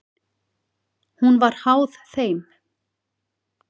Hún var háð þeim.